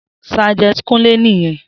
Sergeant kunle niyen